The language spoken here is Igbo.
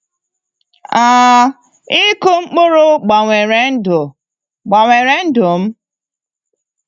um Ịkụ mkpụrụ gbanwere ndụ gbanwere ndụ m.